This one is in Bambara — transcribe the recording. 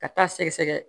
Ka taa sɛgɛsɛgɛ